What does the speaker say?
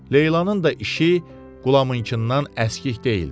Leylanın da işi Qulamınkından əskik deyildi.